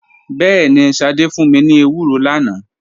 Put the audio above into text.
Bẹẹni, Sade fun mi ni ewuro lana.